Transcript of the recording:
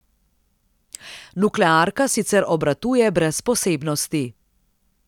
Nuklearka sicer obratuje brez posebnosti.